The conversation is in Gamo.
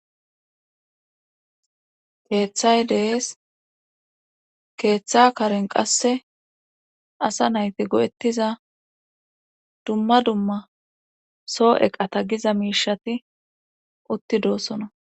Teeththay dees keeththa karen qasse asa nayti go'ettiza dumma dumma soo eqata giza miishati utti doosona.